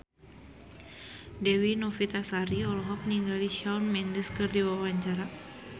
Dewi Novitasari olohok ningali Shawn Mendes keur diwawancara